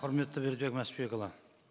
құрметті бердібек мәшбекұлы